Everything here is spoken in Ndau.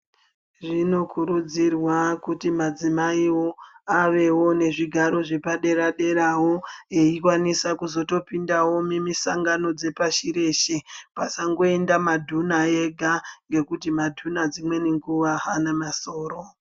Zvinokurudzirwa kuti madzimaiwo avewo nezvigaro zvepadera derawo eikwanisa kuzotopindawo mumisangano dzepashi reshe. Pasangoenda madhuna ega ngekuti madhuna dzimweni nguwa haana masoro.